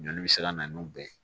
Joli bɛ siran na n'o bɛn